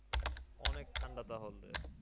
অনেক ঠান্ডা তাহলে।